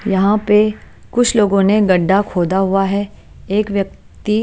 यहाँ पे कुछ लोगों ने गढ़ा खोदा हुआ है एक व्यक्ति --